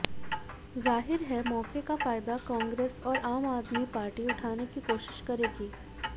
जाहिर है मौके का फायदा कांग्रेस और आम आदमी पार्टी उठाने की कोशिश करेगी